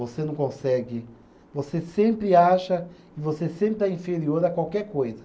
Você não consegue. Você sempre acha e você sempre está inferior a qualquer coisa.